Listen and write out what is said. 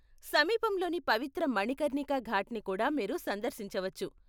సమీపంలోని పవిత్ర మణికర్ణికా ఘాట్ని కూడా మీరు సందర్శించవచ్చు.